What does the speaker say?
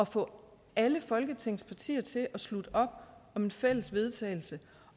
få alle folketingets partier til at slutte op om et fælles vedtagelse